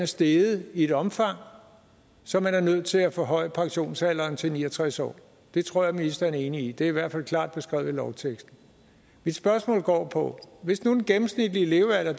steget i et omfang så man er nødt til at forhøje pensionsalderen til ni og tres år det tror jeg ministeren er enig i det er i hvert fald klart beskrevet i lovteksten mit spørgsmål går på at hvis nu den gennemsnitlige levealder